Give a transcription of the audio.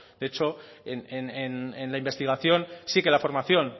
de hecho en la investigación sí que la formación